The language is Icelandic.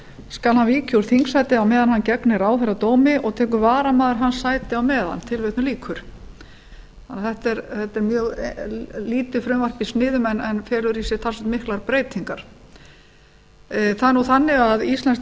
skal hann víkja úr þingsæti á meðan hann gegnir ráðherradómi og tekur varamaður hans sætið á meðan þetta er mjög lítið frumvarp í sniðum en felur í sér talsvert miklar breytingar það er þannig að íslenskt